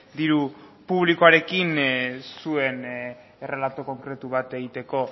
diru publikoarekin zuen errelato konkretu bat egiteko